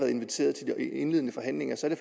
inviteret til de indledende forhandlinger så er